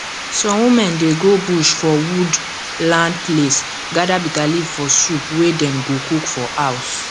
some women dey go bush for wood land place gather bitterleaf for soup wey dem go cook for house